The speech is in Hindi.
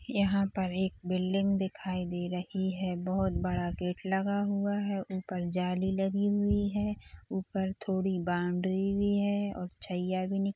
यहाँ पर एक बिल्डिंग दिखाई दे रही है बहुत बड़ा गेट लगा हुआ है ऊपर जाली लगी हुई है ऊपर थोड़ी बाउंड्री भी है और छय्या भी निक--